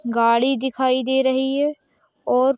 गाड़ी दिखाई दे रही है और --